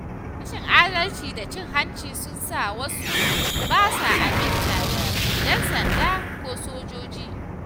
Rashin adalci da cin hanci sun sa wasu ba sa aminta da ‘yan sanda ko sojoji.